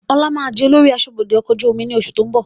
Ọlá máa di olórí aṣọ́bodè ọkọ̀ ojú omi ni oṣù tó ń bọ̀